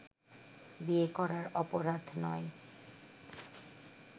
বিয়ে করা অপরাধ নয়